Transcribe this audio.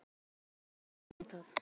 Ég var svona að hugsa um það.